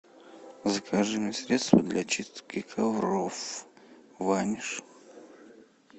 закажи мне средство для чистки ковров ваниш